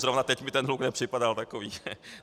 Zrovna teď mi ten hluk nepřipadal takový.